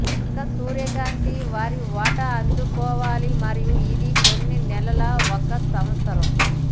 మొక్క సూర్యకాంతి వారి వాటా అందుకోవాలి మరియు ఇది కొన్ని నెలల ఒక సంవత్సరం